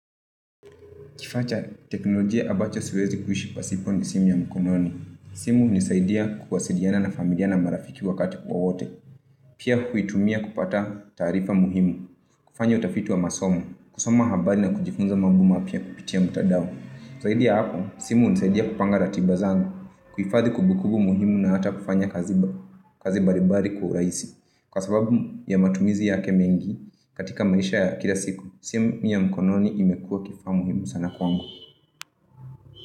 Kifaa cha teknolojia ambacho siwezi kuishi pasipo ni simu ya mkononi. Simu hunisaidia ya kuwasiliana na familia na na marafiki wakati wowote. Pia huitumia kupata taarifa muhimu. Kufanya utafiti wa masomo. Kusoma habari na kujifunza mambo mapya kupitia mtandao. Zaidi ya hapo, simu hunisaidia kupanga ratiba zangu. Kuhadhi kumbukumbu muhimu na hata kufanya kazi balibali kwa urahisi. Kwa sababu ya matumizi yake mengi katika maisha ya kila siku. Simu ya mkononi imekua kifaa muhimu sana kwangu.